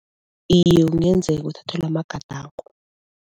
Iye kungenzeka uthathelwe amagadango.